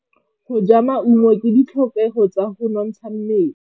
Go ja maungo ke ditlhokegô tsa go nontsha mmele.